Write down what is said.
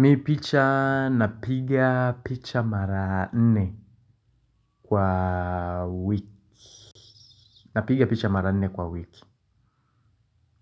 Mimi picha napiga picha mara nne kwa wiki. Napiga picha mara nne kwa wiki.